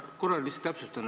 Ma korra lihtsalt täpsustan.